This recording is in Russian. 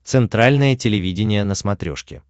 центральное телевидение на смотрешке